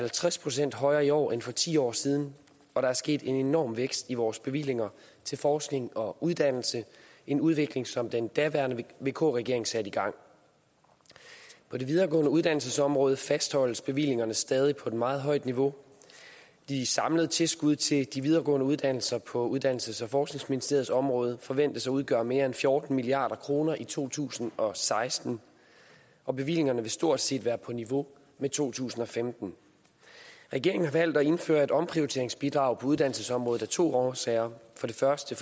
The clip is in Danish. halvtreds procent højere i år end for ti år siden og der er sket en enorm vækst i vores bevillinger til forskning og uddannelse en udvikling som den daværende vk regering satte i gang på det videregående uddannelsesområde fastholdes bevillingerne stadig på et meget højt niveau de samlede tilskud til de videregående uddannelser på uddannelses og forskningsministeriets område forventes at udgøre mere end fjorten milliard kroner i to tusind og seksten og bevillingerne vil stort set være på niveau med to tusind og femten regeringen har valgt at indføre et omprioriteringsbidrag på uddannelsesområdet af to årsager for det første